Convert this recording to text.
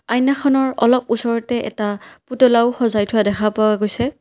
আইনাখনৰ অলপ ওচৰতে এটা পুতলাও সজাই থোৱা দেখা পোৱা গৈছে।